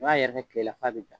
N'a yɛrɛkɛ tile la f'a bɛ ja